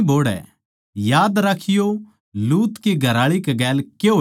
याद राखियों लूत की घरआळी कै गेल के होया था